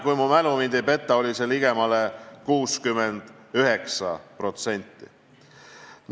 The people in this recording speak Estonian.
Kui mu mälu mind ei peta, oli see ligemale 69%.